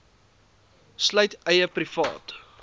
sluit eie privaat